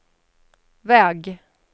väg